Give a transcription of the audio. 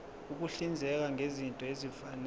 ukuhlinzeka ngezinto ezifanele